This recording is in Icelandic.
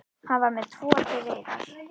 Hann var með tvo til reiðar.